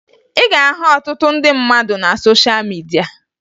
Ị ga-ahụ ọtụtụ ndị mmadụ na sosha midia